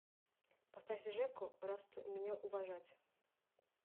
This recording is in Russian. поставь жеку расту меня уважать